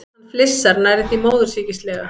Hann flissar, nærri því móðursýkislega.